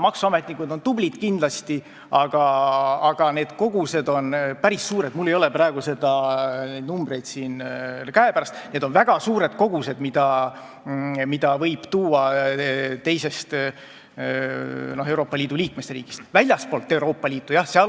Maksuametnikud on kindlasti tublid, aga need kogused on päris suured , kui palju võib teisest Euroopa Liidu liikmesriigist kaasa tuua.